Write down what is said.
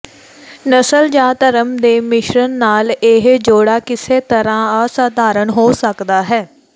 ਨਸਲ ਜਾਂ ਧਰਮ ਦੇ ਮਿਸ਼ਰਣ ਨਾਲ ਇਹ ਜੋੜਾ ਕਿਸੇ ਤਰ੍ਹਾਂ ਅਸਾਧਾਰਣ ਹੋ ਸਕਦਾ ਹੈ